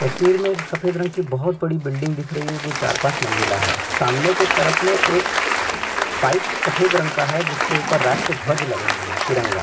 तस्वीर में एक सफ़ेद रंग की बहोत बड़ी बिल्डिंग दिख रही है जो चार पाँच मंजिला है सामने की तरफ में एक पाइप सफ़ेद रंग का है जिसके ऊपर राष्ट्र ध्वज लगा हुआ है तिरंगा--